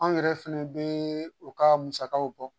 Anw yɛrɛ fɛnɛ be u ka musakaw bɔ.